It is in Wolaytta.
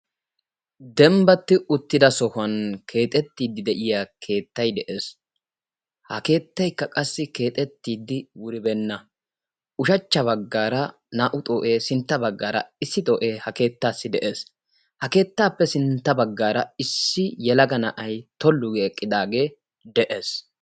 Dembbatti uttida sohuwan keexettiiddi de'iya keettayi de'es. Ha keettaykka qassi keexettiiddi wuribeenna. Ushachcha baggaara naa'u xoo'ee sintta baggaara issi xoo'ee ha keettaassi de'es. Keettaappe sintta baggaara issi yelaga na'ayi tollu go eqqidaagee de'es.